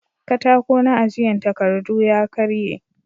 Katako na ajiyan takardu ya karye